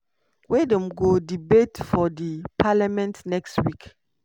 wey dem go debate for di parliament next week.